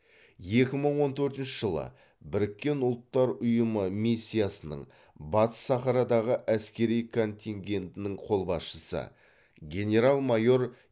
екі мың он төртінші жылы біріккен ұлттар ұйымы миссиясының батыс сахарадағы әскери контингентінің қолбасшысы генерал майор